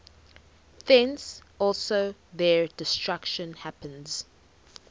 thence also their destruction happens